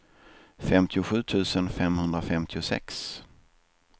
femtiosju tusen femhundrafemtiosex